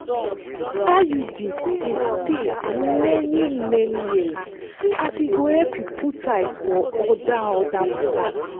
iud dey stay many-many years as e go help you put eyes for other other matters.